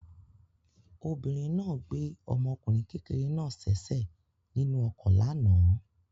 Obìnrin náà gbé ọmọkùnrin kékeré náà sẹ́sẹ̀ nínú ọkọ̀ lánàá.